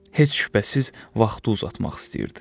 Heç şübhəsiz, vaxtı uzatmaq istəyirdi.